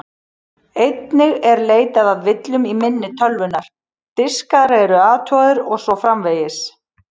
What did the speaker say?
Einnig er leitað að villum í minni tölvunnar, diskar eru athugaðir og svo framvegis.